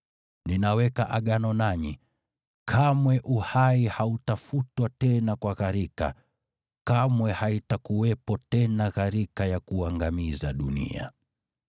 Ninaweka Agano nanyi: Kamwe uhai hautafutwa tena kwa gharika, kamwe haitakuwepo tena gharika ya kuangamiza dunia.”